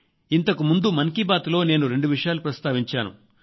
ఇంతకు ముందు మన్ కీ బాత్ లో నేను రెండు విషయాలు ప్రస్తావించాను